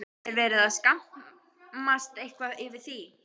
Er verið að skammast eitthvað yfir því?